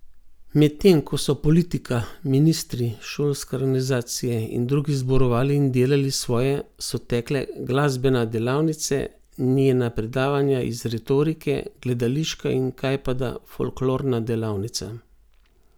Medtem ko so politika, ministri, šolske organizacije in drugi zborovali in delali svoje, so tekle glasbena delavnice, njena predavanja iz retorike, gledališka in kajpada folklorna delavnica.